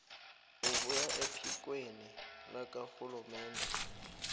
ebuya ephikweni lakarhulumende